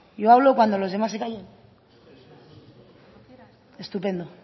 yo hablo cuando los demás se callen estupendo